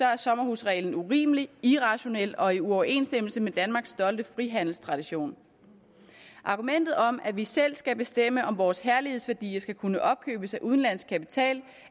er sommerhusreglen urimelig irrationel og ikke i overensstemmelse med danmarks stolte frihandelstradition argumentet om at vi selv skal bestemme om vores herlighedsværdier skal kunne opkøbes af udenlandsk kapital